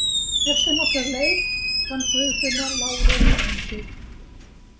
Eftir nokkra leit fann Guðfinna lágreist húsið.